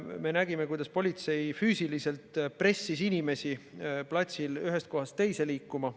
Me nägime, kuidas politsei füüsiliselt pressis inimesi platsil ühest kohast teise liikuma.